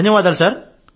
ధన్యవాదాలు సార్